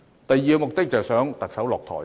第二個目的是迫使特首下台。